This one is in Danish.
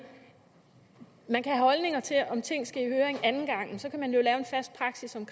man kan have holdninger til om ting skal i høring anden gang men så kan man jo lave en fast praksis om